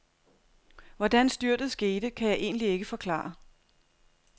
Hvordan styrtet skete, kan jeg egentlig ikke forklare.